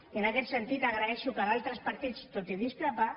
i en aquest sentit agraeixo que d’altres partits tot i discrepar